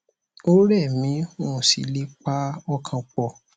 ó rẹ mí n ò sì le è pa ọkàn pọ